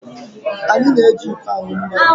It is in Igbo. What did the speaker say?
Anyị na-eji iko aṅụ mmiri.